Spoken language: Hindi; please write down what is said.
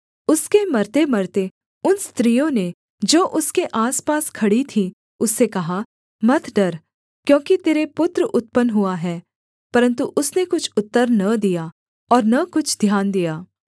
उसके मरतेमरते उन स्त्रियों ने जो उसके आसपास खड़ी थीं उससे कहा मत डर क्योंकि तेरे पुत्र उत्पन्न हुआ है परन्तु उसने कुछ उत्तर न दिया और न कुछ ध्यान दिया